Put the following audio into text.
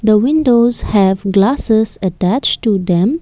The windows have glasses attached to them.